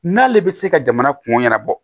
N'ale bɛ se ka jamana kungo ɲɛnabɔ